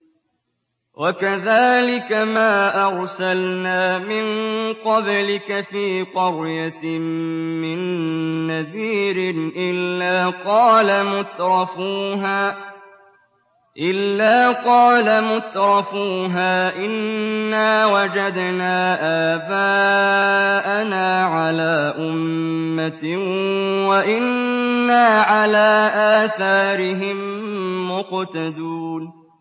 وَكَذَٰلِكَ مَا أَرْسَلْنَا مِن قَبْلِكَ فِي قَرْيَةٍ مِّن نَّذِيرٍ إِلَّا قَالَ مُتْرَفُوهَا إِنَّا وَجَدْنَا آبَاءَنَا عَلَىٰ أُمَّةٍ وَإِنَّا عَلَىٰ آثَارِهِم مُّقْتَدُونَ